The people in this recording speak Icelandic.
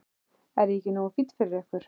Er ég ekki nógu fínn fyrir ykkur?